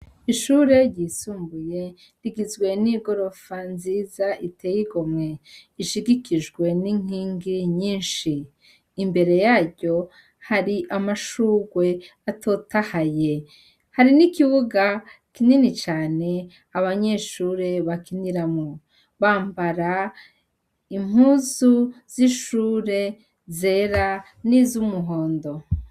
Ishure ryisumbuye rigizwe n'igorofa nziza iteyigo mwe ishigikijwe n'inkingi nyinshi imbere yaryo hari amashurwe atotahaye hari n'ikibuga kinini cane abanyeshure bakiniramwo bambara impuzu z'ishure zera n'izo umuhondo.